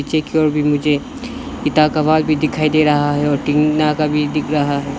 भी मुझे पिता का आवाज भी दिखाई दे रहा है और टीना का भी दिख रहा है।